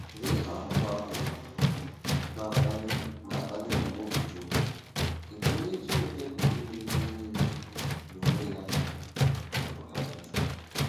Lee ahụmahụ na-akpali akpali ọ bụụrụ Job—ịbụ onye Chineke Pụrụ Ime Ihe Nile n’onwe ya jụrụ ajụjụ!